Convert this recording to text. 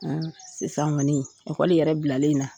Sisan kɔni ekɔli yɛrɛ bilalen in na